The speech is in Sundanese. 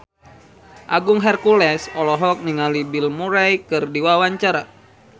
Agung Hercules olohok ningali Bill Murray keur diwawancara